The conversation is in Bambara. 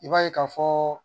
I b'a ye ka fɔ